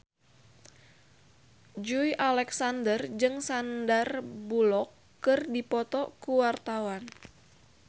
Joey Alexander jeung Sandar Bullock keur dipoto ku wartawan